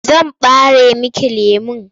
Zan ɓare miki lemon.